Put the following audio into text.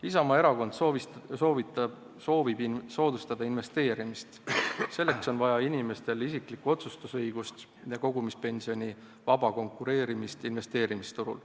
Isamaa Erakond soovib soodustada investeerimist, selleks on inimestel vaja isikliku otsustuse õigust ja kogumispensioni vaba konkureerimist investeerimisturul.